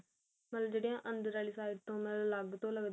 ਮਤਲਬ ਜਿਹੜੀ ਆ ਅੰਦਰ ਵਾਲੀ side ਤੇ ਮਤਲਬ ਅਲੱਗ ਤੋਂ ਲਗਦੀਆ